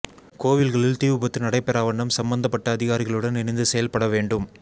கோவில்களில் தீ விபத்து நடைபெறாவண்ணம் சம்பந்தப்பட்ட அதிகாரிகளுடன் இணைந்து செயல்பட வேண்டும்